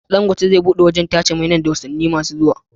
Dangote zai buɗe wajan tace mai nan da watani kadan masu zuwa